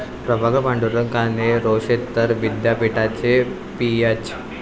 प्रभाकर पांडुरंग काने हे रोशेस्तर विद्यापीठाचे पीएच.